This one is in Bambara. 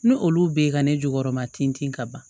N'olu be ye ka ne jukɔrɔma tin ka ban